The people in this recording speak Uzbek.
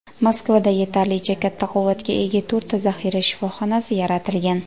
Moskvada yetarlicha katta quvvatga ega to‘rtta zaxira shifoxonasi yaratilgan.